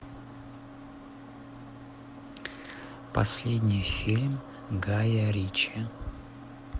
последний фильм гая ричи